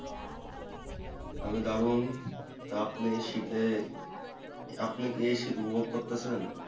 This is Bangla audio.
আমি দারুন তা আপনি এই শীতে আপনি এই শীত উপভোগ করতেছেন?